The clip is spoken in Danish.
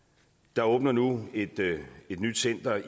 der åbner nu et nyt center